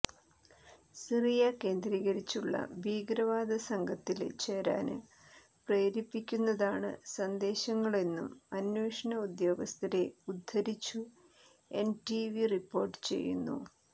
Syria കേന്ദ്രീകരിച്ചുള്ള ഭീകരവാദ സംഘത്തില് ചേരാന് പ്രേരിപ്പിക്കുന്നതാണ് സന്ദേശങ്ങളെന്നും അന്വേഷണ ഉദ്യോഗസ്ഥരെ ഉദ്ധരിച്ചു എന്ഡിടിവി റിപ്പോര്ട്ട് ചെയ്യുന്നു